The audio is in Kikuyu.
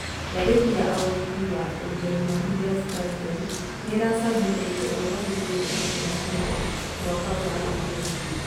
Gathĩti ya o wiki ya Ũjerumani Der Spiegel, nĩiracabithirie ũhoro wĩgĩe ndeto cia mũhũhũ mwaka ũrathirire.